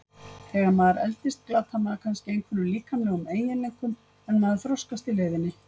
Þegar maður eldist glatar maður kannski einhverjum líkamlegum eiginleikum en maður þroskast í leiðinni.